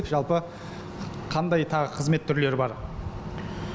жалпы қандай тағы қызмет түрлері бар